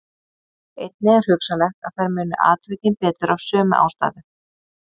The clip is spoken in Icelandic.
Einnig er hugsanlegt að þær muni atvikin betur af sömu ástæðu.